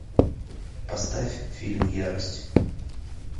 поставь фильм ярость